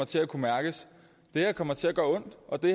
til at kunne mærkes det her kommer til at gøre ondt og det